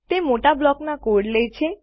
તે મોટા બ્લોકના કોડ લે છે